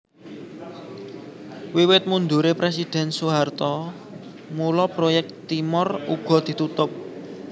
Wiwit mundure Presiden Soeharto mula proyek Timor uga ditutup